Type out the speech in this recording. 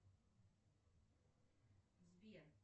сбер